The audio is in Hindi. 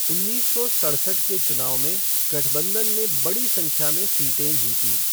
उन्नीस सौ सड़सठ के चुनाव में गठबंधन ने बड़ी संख्या में सीटें जीतीं।